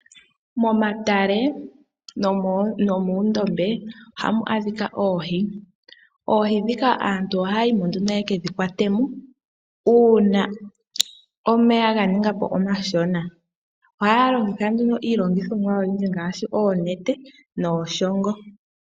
Momatale nomoondombe ohamu adhika oohi, dhika aantu ohaya ya yimo ihe yeke dhi kwatemo uuna omeya ga ninga po omashona ohaa longitha nduno iilongothomwa ngaashi oonete nooshongo.